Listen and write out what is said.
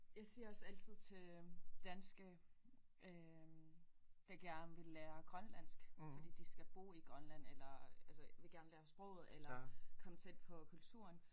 Jeg siger også altid til danske øh der gerne vil lære grønlandsk fordi de skal bo i Grønland eller altså vil gerne lære sproget eller komme tæt på kulturen